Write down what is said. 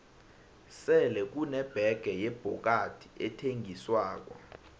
sele kune bege yebhokadi ethengiswako